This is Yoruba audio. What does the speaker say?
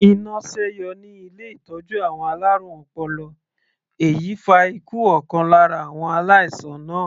Iná sẹ́yọ ní ilé ìtọ́jú àwọn alárùn ọpọlọ èyí fa ikú ọ̀kan lára àwọn aláìsàn náà.